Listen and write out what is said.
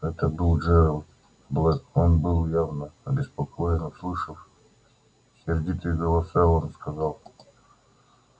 это был джералд блэк он был явно обеспокоен услышав сердитые голоса он сказал